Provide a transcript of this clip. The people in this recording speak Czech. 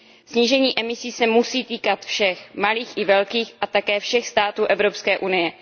Snížení emisí se musí týkat všech, malých i velkých a také všech států Evropské unie.